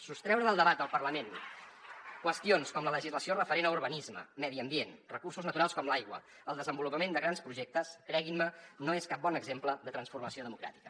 sostreure del debat del parlament qüestions com la legislació referent a urbanisme medi ambient recursos naturals com l’aigua el desenvolupament de grans projectes creguin me no és cap bon exemple de transformació democràtica